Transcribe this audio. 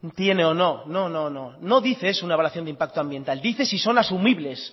tiene o no no no no no dice es una evaluación de impacto ambiental dice si son asumibles